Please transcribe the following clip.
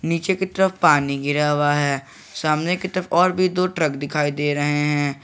नीचे की तरफ पानी गिरा हुआ है सामने की तरफ और भी दो ट्रक दिखाई दे रहे हैं।